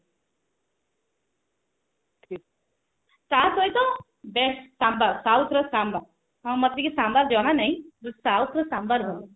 ତା ସହିତ best sambar south ର ଶାମ୍ବର ହଁ ମତେ କିନ୍ତୁ ଶାମ୍ବର ଜଣା ନାହିଁ but south ର ଶାମ୍ବର ଭଲ